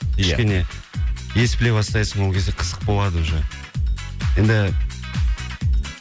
ия кішкене ескілеу бастайсың ол кезде қызық болады уже енді